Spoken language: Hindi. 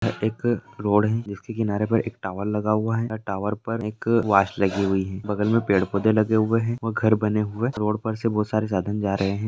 एक रोड है जिसके किनारे पर एक टावर लगा हुआ हैं एंड टावर पर एक वाच लगी हुआ हैं बगल में पेड़-पौधे लगे हुए हैंव घर बने हुए रोड पर से बहुत सारे साधन जा रहे हैं।